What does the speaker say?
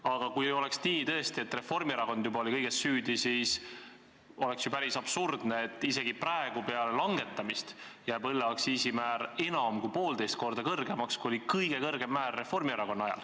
Aga kui oleks tõesti nii, et Reformierakond oli juba kõiges süüdi, siis oleks ju päris absurdne, et isegi praegu, peale langetamist, jääb õlleaktsiisi määr enam kui poolteist korda suuremaks kui Reformierakonna valitsemise ajal.